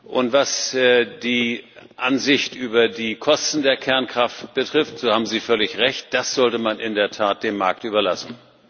Und was die Ansicht über die Kosten der Kernkraft betrifft, so haben Sie völlig recht Das sollte man in der Tat dem Markt überlassen.